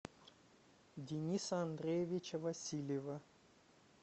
дениса андреевича васильева